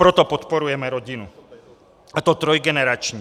Proto podporujeme rodinu a to trojgenerační.